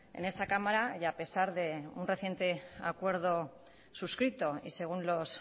en esta cámara y a pesar de un reciente acuerdo suscrito y según los